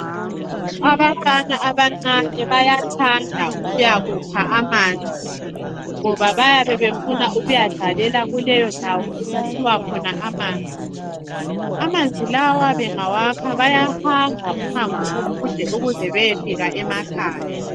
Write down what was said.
Abafana abancane bayathanda ukuya kukha amanzi. Ngoba bayabe befuna ukuyadlalela kuleyo ndawo okukhiwa khona amanzi. Amanzi lawo bengawakha bayahamba umango omude ukuze beyefika emakhaya.